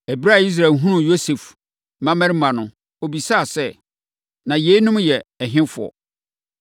Ɛberɛ a Israel hunuu Yosef mmammarima no, ɔbisaa sɛ, “Na yeinom yɛ ɛhefoɔ?”